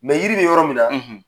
Yiri bi yɔrɔ min na